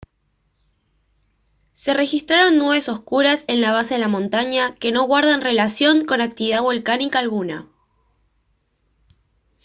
se registraron nubes oscuras en la base de la montaña que no guardan relación con actividad volcánica alguna